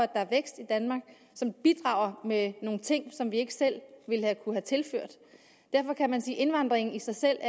er vækst i danmark som bidrager med nogle ting som vi ikke selv ville kunne have tilført derfor kan man sige at indvandringen i sig selv